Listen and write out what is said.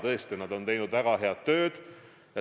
Tõesti, nad on teinud väga head tööd.